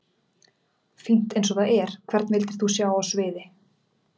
Fínt eins og það er Hvern vildir þú sjá á sviði?